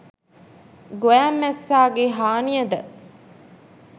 ගොයම් මැස්සා ගේ හානිය ද